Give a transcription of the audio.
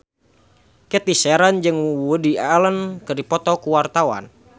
Cathy Sharon jeung Woody Allen keur dipoto ku wartawan